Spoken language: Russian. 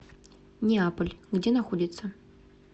неаполь где находится